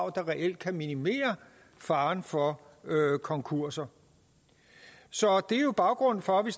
reelt kan minimere faren for konkurser det er jo baggrunden for at vi